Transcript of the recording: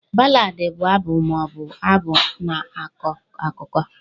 Ballad bụ abụ ma ọ bụ abụ na-akọ akụkọ